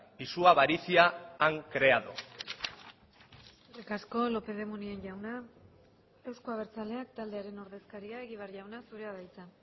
y su avaricia han creado eskerrik asko lópez de munain jauna euzko abertzaleak taldearen ordezkaria egibar jauna zurea da hitza